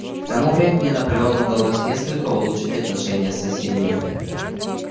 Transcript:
к тому времени наполеону удалось несколько улучшить отношения с соседями